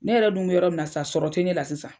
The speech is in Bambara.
Ne yɛrɛ dun be yɔrɔ mun na sisan, sɔrɔ te ne la sisan.